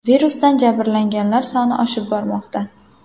Virusdan jabrlanganlar soni oshib bormoqda.